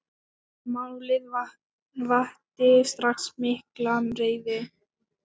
Málið vakti strax mikla reiði.